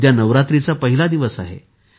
उद्या नवरात्रीचा पहिला दिवस आहे